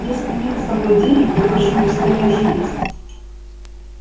если нет с собой денег впрочем пускай даже есть